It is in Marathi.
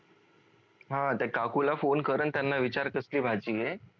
हा त्या काकू ला फोन कर अन त्यांना विचार कसली भाजी आहे